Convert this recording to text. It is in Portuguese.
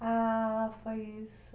Ah, foi isso.